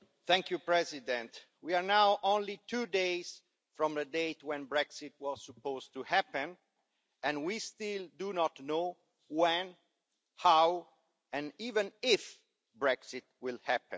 Madam President, we are now only two days from the date when Brexit was supposed to happen and we still do not know when, how and even if Brexit will happen.